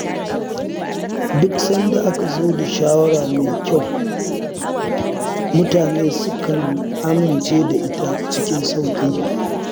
Duk sanda aka zo da shawara mai kyau, mutane sukan amince da ita cikin sauƙi.